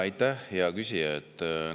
Aitäh, hea küsija!